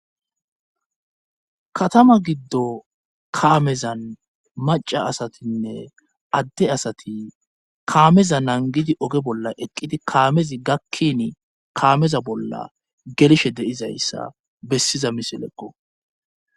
Katama giddo kaamezan maca asatinne adde asati kaameza nangidi oge bolla eqqidi kaamezi gakkini kaameza bolla gelshe deizayssa bessiza miseleqqo.